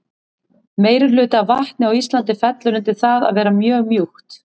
meirihluti af vatni á íslandi fellur undir það að vera mjög mjúkt